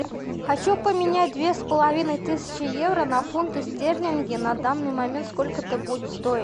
хочу поменять две с половиной тысячи евро на фунты стерлинги на данный момент сколько это будет стоить